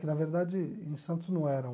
Que, na verdade, em Santos não era um...